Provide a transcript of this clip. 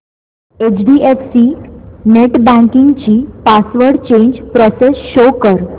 HDFC net banking ची password change process show कर